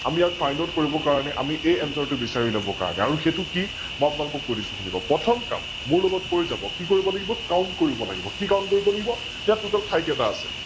আমি ইয়াক Findout কৰিব কাৰনে আমি এই Answer টো বিছাৰি উলিয়াবৰ কাৰনেআৰু সৈটো কি, মই আপোনালোকক কৈ দিছো শুনিলওক, প্ৰথম কাম মোৰ লগত কৰি যাব কি কৰিব লাগিব Count কৰিব লাগিব, কি Count কৰিব লাগিব? ইয়াত Total ঠাই কেইতা আছে?